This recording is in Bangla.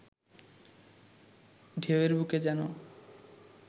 ঢেউয়ের বুকে যেন